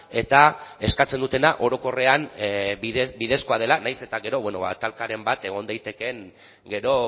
eta eskatzen dutena orokorrean bidezkoa dela nahiz eta gero bueno talkaren bat egon daitekeen gero